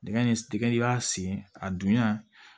Dingɛ in tɛgɛ i b'a sen a dunya